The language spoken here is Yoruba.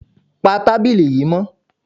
Pa tábìlì yìí mọ́!